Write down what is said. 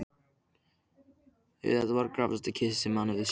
Þetta var gáfaðasta kisa sem hann hafði séð.